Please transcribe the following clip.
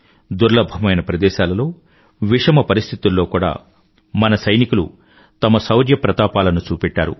దుర్లభమైన ప్రదేశాలలో విషమ పరిస్థితుల్లో కూడా మన సైనికులు తమ శౌర్యప్రతాపాలను చూపెట్టారు